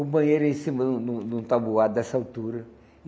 O banheiro era em cima, num num num tabuado, dessa altura.